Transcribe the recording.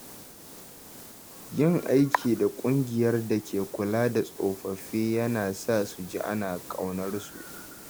Yin aiki da ƙungiyar da ke kula da tsofaffi yana sa su ji ana ƙaunarsu.